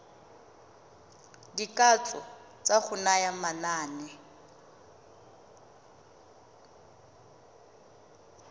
dikatso tsa go naya manane